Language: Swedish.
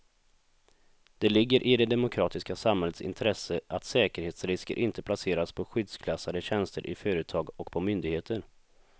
Det ligger i det demokratiska samhällets intresse att säkerhetsrisker inte placeras på skyddsklassade tjänster i företag och på myndigheter.